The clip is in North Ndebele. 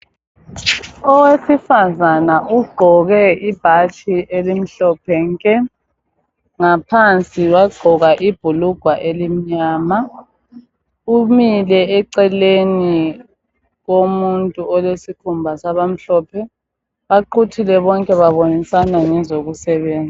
Owesifazana ugqoke ibhatshi elimhlophe nke ngaphansi wagqoka ibhulugwa elimnyama .Umile eceleni komuntu olesikhumba sabamhlophe Baquthile bonke babonisana ngezokusebenza